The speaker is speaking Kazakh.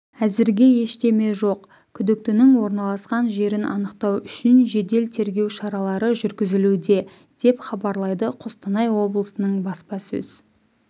әзірге ештеме жоқ күдіктінің орналасқан жерін анықтау үшін жедел-тергеу шаралары жүргізілуде деп хабарлайды қостанай облысының баспасөз